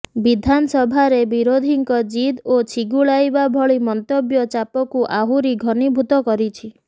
ବିଧାନସଭାରେ ବିରୋଧୀଙ୍କ ଜିଦ ଓ ଛିଗୁଲାଇବା ଭଳି ମନ୍ତବ୍ୟ ଚାପକୁ ଆହୁରି ଘନୀଭୂତ କରିଛି